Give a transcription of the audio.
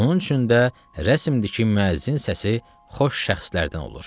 Onun üçün də rəsmdir ki, müəzzin səsi xoş şəxslərdən olur.